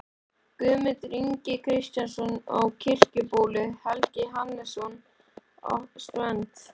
Guðmundur Ingi Kristjánsson á Kirkjubóli, Helgi Hannesson á Strönd